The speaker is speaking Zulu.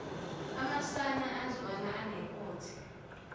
amasana azalwa anenkothe